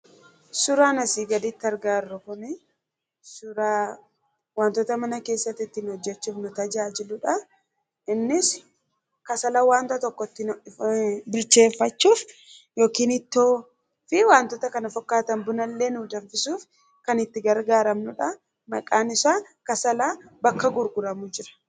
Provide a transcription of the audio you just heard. Suuraan asi gadiitti argaa jiruujiruu kuni suuraa waantoota mana keessa ittin hojeechuuf nuu taajaajiluudha. Innis Kassaala wanta tokko ittin bilcheefachuuf yookiin Ittoofi waantoota kana fakkatan Buunaa illee nuu danfisuuf kan itti gargaramnudha. Maqaan isaa Kaassaalaa bakka gurguramuu jira.